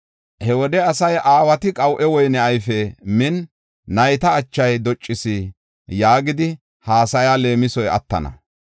“He wode asay, ‘Aawati qaw7e woyne ayfe min, nayta achay doccis’ yaagidi haasaya leemisoy attana.